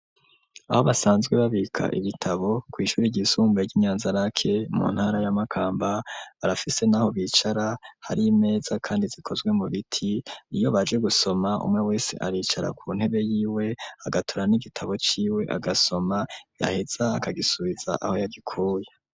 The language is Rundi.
Aho basanzwe babika ibitabo, kw'ishuri ryisumbuye ry'i Nyanzarake mu ntara ya Makamba, barafise n'aho bicara hari imeza kandi zikozwe mu biti; iyo baje gusoma, umwe wese aricara ku ntebe yiwe, agatora n'igitabo ciwe agasoma, yaheza akagisubiza aho yagikuye.